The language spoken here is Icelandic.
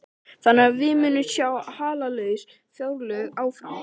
Þannig að við munum sjá hallalaus fjárlög áfram?